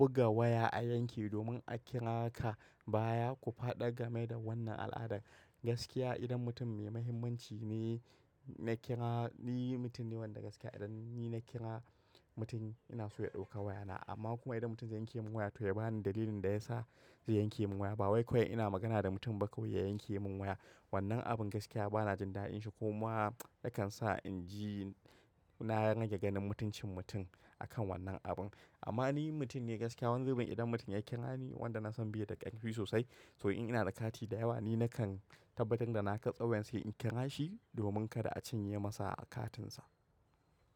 Buga waya a yanki domin a kira ka baya ku faɗa game da wannan al'adar. Gaskiya idan mutum mai mahimmanci ne na kira, ni mutum ne wanda gaskiya idan ni na kira mutum ina so ya ɗauka wayana. Amma kuma idan mutum zai yanke min waya to ya bani dalilin da ya sa zai yanke min waya. Ba wai kawai ina magana da mutum ba kawai ya yanke min waya. Wannan abin gaskiya bana jin daɗin shi, ko ma nakan sa in ji na rage ganin mutuncin mutum akan wannan abun. Amma ni mutum ne gaskiya wanzu ba idan mutum ya kira ni wanda nasan biye da ƙarfi sosai to in ina da kati da yawa ni na kan tabbatar da na ka tsauyan sai in kira shi domin kada a cinye masa katinsa.